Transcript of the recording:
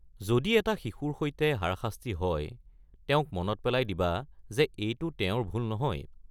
যদি এটা শিশুৰ সৈতে হাৰাশাস্তি হয়, তেওঁক মনত পেলাই দিবা যে এইটো তেওঁৰ ভুল নহয়।